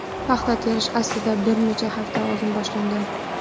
Paxta terish aslida bir necha hafta oldin boshlangan.